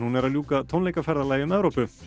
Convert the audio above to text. er að ljúka tónleikaferðalagi um Evrópu